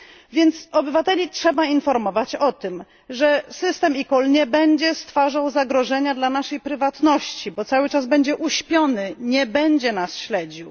Więc obywateli trzeba informować o tym, że system eCall nie będzie stwarzał zagrożenia dla naszej prywatności, bo cały czas będzie uśpiony, nie będzie nas śledził